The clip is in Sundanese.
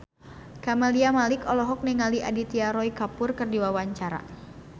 Camelia Malik olohok ningali Aditya Roy Kapoor keur diwawancara